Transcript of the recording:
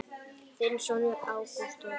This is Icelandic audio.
Þinn sonur Ágúst Þór.